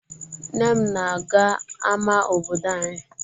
Nne m na-aga ama obodo anyị.